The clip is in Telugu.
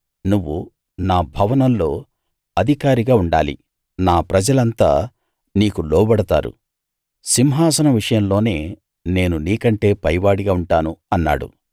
నువ్వు నా భవనంలో అధికారిగా ఉండాలి నా ప్రజలంతా నీకు లోబడతారు సింహాసనం విషయంలోనే నేను నీకంటే పైవాడిగా ఉంటాను అన్నాడు